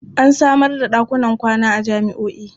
An samar da ɗakunan kwana a jami'o'i.